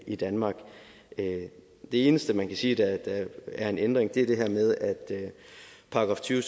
i danmark det eneste man kan sige er en ændring er det her med § tyve